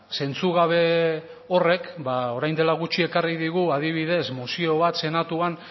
zentzugabe horrek ba orain dela gutxi ekarri digu adibidez mozio bat senatuan